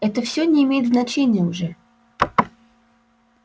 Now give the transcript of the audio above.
это всё не имеет значения уже